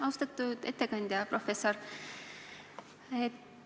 Austatud ettekandja, professor Ehala!